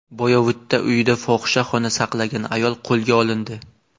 Boyovutda uyida fohishaxona saqlagan ayol qo‘lga olindi.